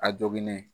A jogilen